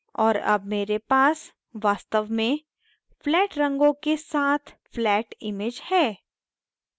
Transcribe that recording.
और अब मेरे पास वास्तव में flat रंगों के साथ flat image है